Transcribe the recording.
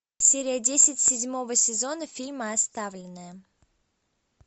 серия десять седьмого сезона фильма оставленные